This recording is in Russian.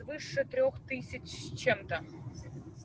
выше трёх тысяч с чем-то